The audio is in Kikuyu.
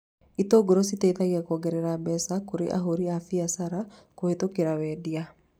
Itũngũrũ cietithagia kuongerera mbeca kũrĩ ahũri a mbiacara kũhĩtũkĩra wendia